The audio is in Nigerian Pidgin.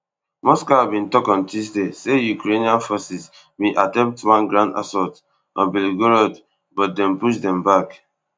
moscow bin tok on tuesday say ukrainian forces bin attempt one ground assault on belgorod but dem push dem back